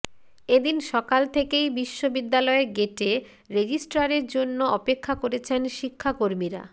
এদিন সকাল থেকেই বিশ্ববিদ্যালয়ের গেটে রেজিস্ট্রারের জন্য অপেক্ষা করেছেন শিক্ষাকর্মীরা